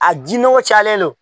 A di nɔgɔ cayalen don